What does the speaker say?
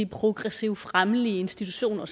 progressive fremmelige institutioner